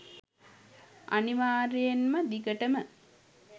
අනිවාර්යයෙන්ම දිගටම